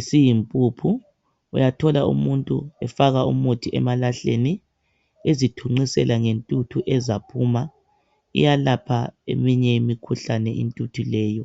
isiyimpuphu uyathola umuntu efaka umuthi emalahleni ezithunqisela ngentuthu ezaphuma. Iyelapha eminye imikhuhlane intuthu leyo.